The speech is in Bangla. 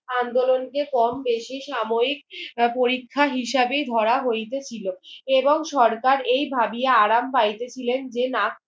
আন্দোলনকে কম বেশি সাময়িক পরীক্ষা হিসাবে ধরা হইতে ছিল এবং সরকার এই ভাবিয়া আরাম পাইতে ছিলেন যে না